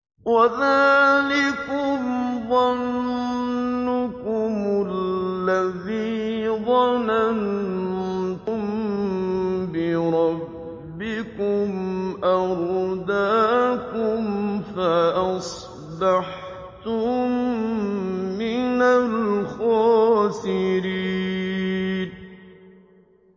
وَذَٰلِكُمْ ظَنُّكُمُ الَّذِي ظَنَنتُم بِرَبِّكُمْ أَرْدَاكُمْ فَأَصْبَحْتُم مِّنَ الْخَاسِرِينَ